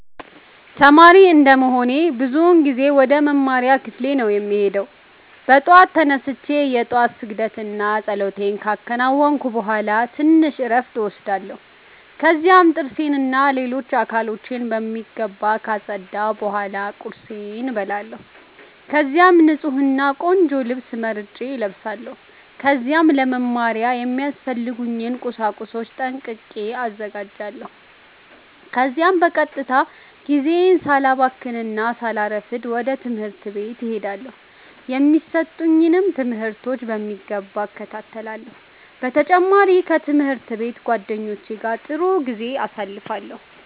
ተማሪ እንደመሆኔ አብዛኛውን ጊዜ ወደ መማሪያ ክፍሌ ነው የምሄደው። በጠዋት ተነስቼ የ ጧት ስግደት እና ፀሎቴን ካከናወንኩ ቡሃላ ትንሽ እረፍት እወስዳለሁ። ከዚያም ጥርሴን እና ሌሎች አካሎቼን በሚገባ ካፀዳሁ ቡሃላ ቁርሴን እበላለሁ። ከዚያም ንፁህ እና ቆንጆ ልብስ መርጬ እለብሳለው። ከዚያም ለ መማሪያ የሚያስፈልጉኝን ቁሳቁሶች ጠንቅቄ አዘጋጃለሁ። ከዚያም በቀጥታ ጊዜዬን ሳላባክን እና ሳላሰፍድ ወደ ትምህርት ቤት እሄዳለው። የሚሰጡኝንም ትምህርቶች በሚገባ እከታተላለሁ። በ ተጨማሪም ከ ትምህርት ቤት ጓደኞቼ ጋ ጥሩ ጊዜ አሳልፋለሁ።